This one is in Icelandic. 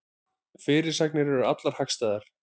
Fyrirsagnir eru allar hagstæðar